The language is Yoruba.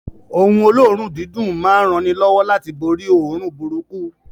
Oun olóòrùn dídùn ma n ranilówó láti borí óòrùn burúkú